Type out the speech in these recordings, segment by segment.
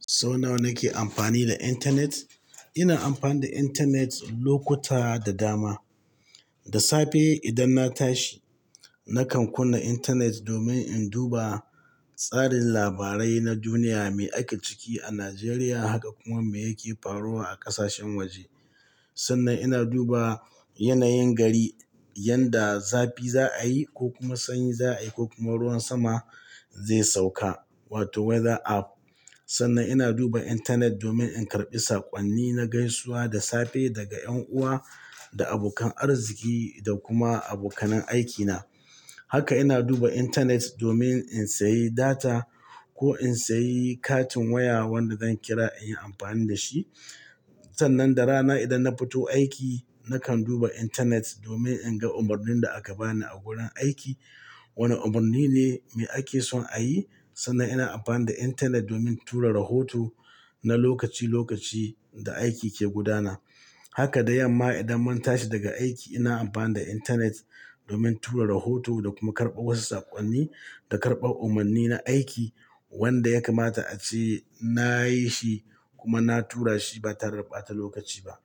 Sau nawa nake amfani da intanet? Ina amfani da intanet lokuta da dama. Da safe idan na tashi, nakan kunna intanet domin in duba tsarin labarai na duniya me ake ciki a Najeriya, haka kuma me yake faruwa a ƙasashen waje. Sannan ina duba yanayin gari yanda zafi za a yi ko kuma sanyi za a yi ko kuma ruwan sama zai sauka, wato weather app. Sannan ina duba intanet domin in karɓi saƙonni na gaisuwa da safe daga 'yan uwa da abokan arziki da kuma abokanin aikina. Haka ina duba intanet domin in sayi data ko in sayi katin waya wanda zan kira in yi amfani da shi. Sannan da rana idan na fito aiki, nakan duba intanet domin in ga umarnin da aka bani a wurin aiki. Wane umarni ne mai ake son a yi. Sannan ina amfani da intanet domin tura rohoto na lokaci-lokaci da aiki ke gudana. Haka da yamma idan mun tashi daga aiki ina amfani da intanet domin tura rahoto da kuma karɓar wasu saƙonni da karɓar umarni na aiki wanda ya kamata ace na yi shi kuma na tura shi ba tare da ɓata lokaci ba.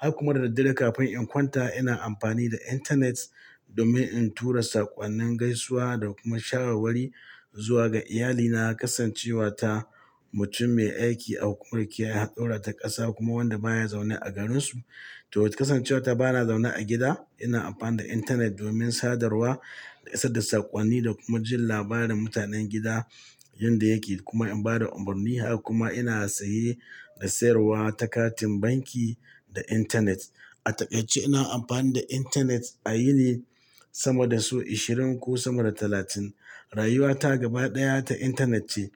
Haka kuma da daddare kafin in kwanta ina amfani da intanet domin in tura saƙonnin gaisuwa da kuma sharawar zuwa ga iyalina, kasancewa ta wane umarni ne mai ake son a yi. To kasancewa ta bana zaune a gida ina amfani da intanet domin sadarwa da isar da saƙonni da kuma jin labarin mutanen gida yanda yake kuma in ba da umarni. Haka kuma ina saye da sayarwa ta katin banki da intanet. A taƙaice ina amfani da intanet a yini sama da sau ashirin ko sama da talatin. Rayuwata gaba ɗaya ta intanet ce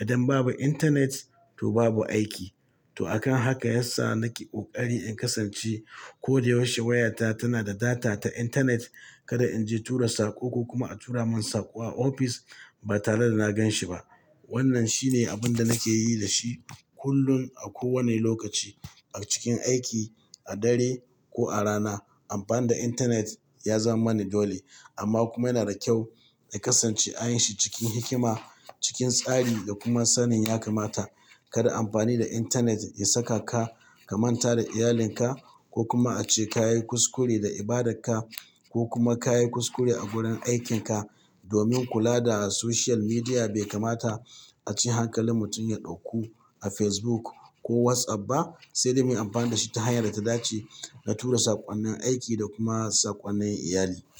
idan babu intanet to babu aiki. To akan haka yasa nake ƙoƙari in kasance ko da yaushe wayata tana da data ta intanet kada in je tura saƙo ko kuma a tura min saƙo a ofis ba tare da na ganshi ba. Wannan shine abin da nake yi da shi kullum a kowane lokaci a cikin aiki, a dare ko a rana. Amfani da intanet ya zama mani dole amma kuma yana da kyau in kasance a yin shi cikin hikima, cikin tsari da kuma sanin ya kamata. Kada amfani da intanet ya saka ka ka manta da iyalinka ko kuma ace ka yi kuskure da ibadarka ko kuma ka yi kuskure a wurin aikinka domin kula da soshiyal midiya bai kamata ace hankalin mutum ya ɗauku a Facebook ko WhatsApp ba, sai dai muyi amfani da shi ta hanyar da ta dace da tura saƙonnin aiki da kuma saƙonnin iyali.